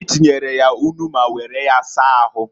Anyi tinyere ya nnu ma were ya saa ahu.